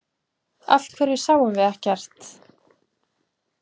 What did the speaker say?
Af hverju sáum við ekkert?